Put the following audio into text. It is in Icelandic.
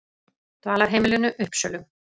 Dvalarheimilinu Uppsölum